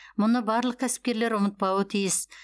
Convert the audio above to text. мұны барлық кәсіпкерлер ұмытпауы тиіс